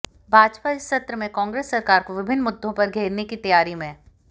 भाजपा इस सत्र में कांग्रेस सरकार को विभिन्न मुद्दों पर घेरने की तैयारी में